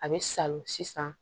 A bɛ salo sisan